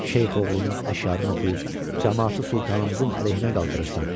Şeyx oğlunun əşarını oxuyub camaatı sultanımızın əleyhinə qaldırırsan.